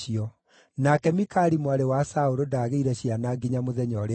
Nake Mikali mwarĩ wa Saũlũ ndaagĩire ciana nginya mũthenya ũrĩa aakuire.